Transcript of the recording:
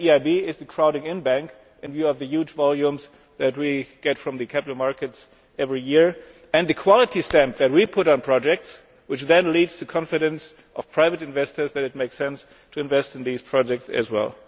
The EIB is the crowding in bank and there are the huge volumes that we get from the capital markets every year and the quality stamp that we put on projects which then leads to confidence among private investors that it makes sense to invest in these projects as well.